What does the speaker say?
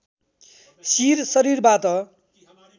शिर शरीरबाट